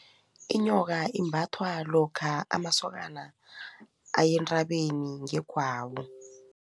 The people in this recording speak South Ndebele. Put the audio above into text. Inyoka imbathwa lokha amasokana aye entabeni ngegwabo.